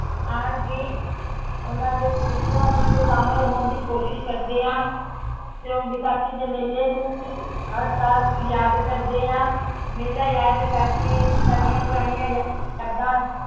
ਆਉਣ ਦੀ ਉਹਨਾਂ ਦੇ ਖ਼ੁਸ਼ੀਆਂ ਵਿੱਚ ਸ਼ਾਮਿਲ ਹੋਣ ਦੀ ਕੋਸ਼ਿਸ਼ ਕਰਦੇ ਹਾਂ ਤੇ ਉਹ ਵਿਸਾਖੀ ਦੇ ਮੇਲੇ ਨੂੰ ਵੀ ਹਰ ਸਾਲ ਯਾਦ ਕਰਦੇ ਹਾਂ ਮੇਲਾ ਯਾਦ ਕਰਕੇ ਸਾਡੀਆਂ ਪੁਰਾਣੀਆਂ ਯਾਦਾਂ